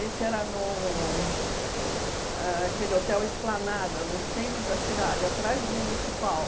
era no aquele Hotel Esplanada, no centro da cidade, atrás do Municipal.